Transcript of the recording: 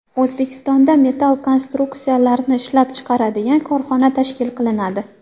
O‘zbekistonda metall konstruksiyalarni ishlab chiqaradigan korxona tashkil qilinadi.